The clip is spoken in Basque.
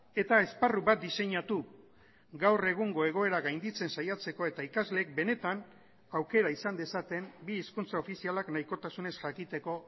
eta esparru bat diseinatu gaur egungo egoera gainditzen saiatzeko eta ikasleek benetan aukera izan dezaten bi hizkuntza ofizialak nahikotasunez jakiteko